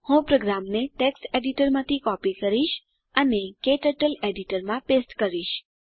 હું પ્રોગ્રામને ટેક્સ્ટ એડીટરમાંથી કોપી કરીશ અને તેને ક્ટર્ટલ એડીટરમાં પેસ્ટ કરીશ